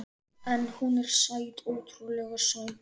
En hún er sæt, ótrúlega sæt.